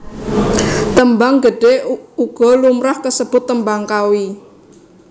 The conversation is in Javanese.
Tembang Gedhe uga lumrah kasebut Tembang Kawi